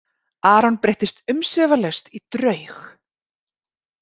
Aron breyttist umsvifalaust í draug.